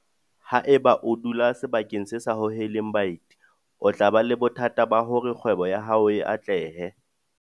Haeba o dula sebakeng se sa hoheleng baeti o tla ba le bothata ba hore kgwebo ya hao e atlehe.